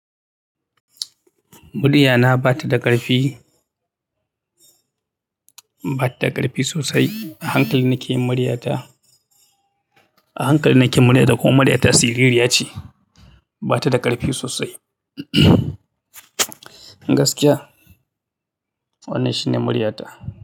Murya na ba ta da ƙarfi, ba ta ƙarfi sosai. A hankali nake yin murya ta. A hankali nake murya da ko murya ta siririya ce. Ba ta da ƙarfi sosai. Gaskiya, wannan shine muriya ta.